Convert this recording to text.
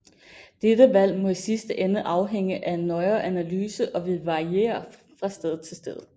Dette valg må i sidste ende afhænge af en nøjere analyse og vil variere fra sted til sted